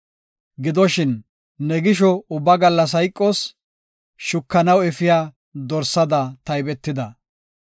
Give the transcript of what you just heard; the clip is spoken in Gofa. Gidoshin, ne gisho ubba gallas hayqoos; shukanaw efiya dorsada taybetida.